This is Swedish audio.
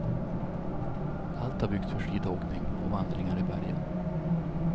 Allt har byggts för skidåkning och vandringar i bergen.